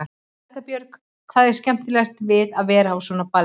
Erla Björg: Hvað er skemmtilegast við að vera á svona balli?